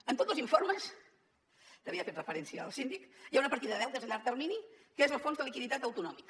en tots dos informes a què havia fet referència el síndic hi ha una partida de deutes a llarg termini que és el fons de liquiditat autonòmic